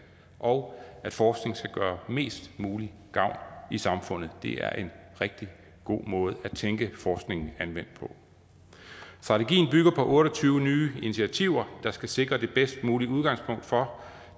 og at forskning skal gøre mest mulig gavn i samfundet er en rigtig god måde at tænke forskningen anvendt på strategien bygger på otte og tyve nye initiativer der skal sikre det bedst mulige udgangspunkt for